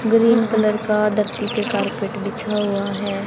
Green colour का धरती पे कारपेट बिछा हुवा हैं।